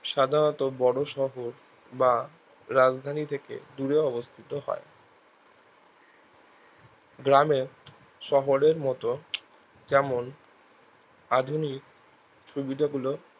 সাধারণত বড়ো শহর বা রাজধানী থেকে দূরে অবস্থিত হয় গ্রামে শহরের মতো যেমন আধুনিক সুবিধা গুলো